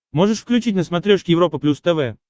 можешь включить на смотрешке европа плюс тв